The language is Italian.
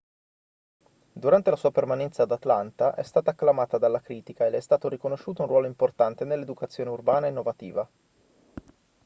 durante la sua permanenza ad atlanta è stata acclamata dalla critica e le è stato riconosciuto un ruolo importante nell'educazione urbana innovativa